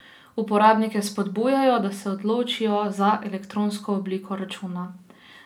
Uporabnike spodbujajo, da se odločijo za elektronsko obliko računa.